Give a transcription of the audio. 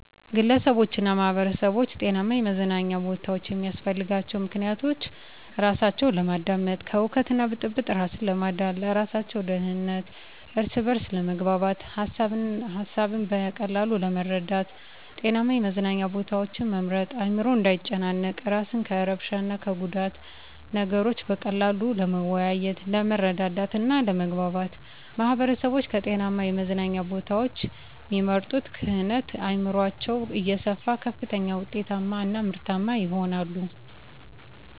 ግለሰቦችና ማህበረሰቦች ጤናማ የመዝናኛ ቦታዎችን የሚያስፈልጋቸው ምክንያቶች:-እራሳቸውን ለማዳመጥ፤ ከሁከትና ብጥብጥ እራስን ለማዳን፤ ለእራሳቸው ደህንነት፤ እርስ በርስ ለመግባባት፤ ሀሳብን በቀላሉ ለመረዳት። ጤናማ የመዝናኛ ቦታዎችን መምረጥ አዕምሮ እንዳይጨናነቅ፤ እራስን ከእርብሻ እና ከጉዳት፤ ነገሮችን በቀላሉ ለመወያየት፤ ለመረዳዳት እና ለመግባባት። ማህበረሰቦች ከጤናማ የመዝናኛ ቦታዎችን እሚመርጡ ክህነት አዕምሯቸው እየሰፋ ከፍተኛ ውጤታማ እና ምርታማ ይሆናሉ።